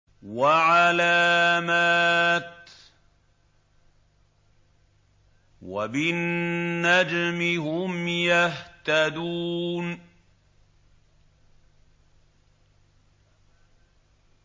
وَعَلَامَاتٍ ۚ وَبِالنَّجْمِ هُمْ يَهْتَدُونَ